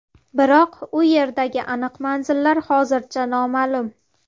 Biroq u yerdagi aniq manzillar hozircha noma’lum.